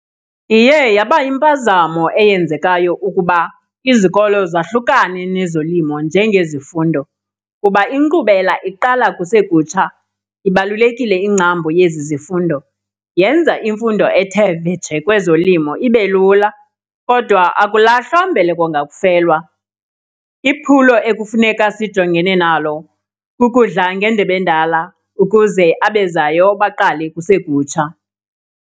Iye yaba yimpazamo eyenzekayo ukuba izikolo zahlukane nezolimo njengezifundo kuba inkqubela iqala kusekutsha. Ibalulekile ingcambu yezi zifundo, yenza imfundo ethe vetshe kwezolimo ibe lula. Kodwa akulahlwa mbeleko ngakufelwa, iphulo ekufuneka sijongene nalo kukudla ngendebe endala ukuze abezayo baqale kusekutsha.